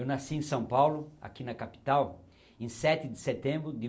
Eu nasci em São Paulo, aqui na capital, em sete de setembro de